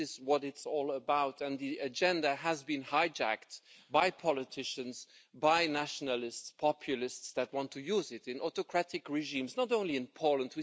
This is what it is all about and the agenda has been hijacked by politicians, by nationalists and populists that want to use it in autocratic regimes, not only in Poland.